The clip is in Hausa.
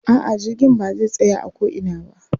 A'a jirgin ba zai tsaya a ko ina ba.